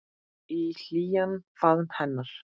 Í hlýjan faðm hennar.